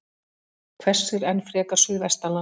Hvessir enn frekar suðvestanlands